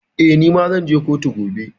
Eh, ni ma zan je kotu gobe.